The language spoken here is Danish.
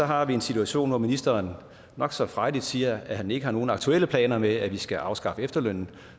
har vi en situation hvor ministeren nok så frejdigt siger at han ikke har nogen aktuelle planer om at vi skal afskaffe efterlønnen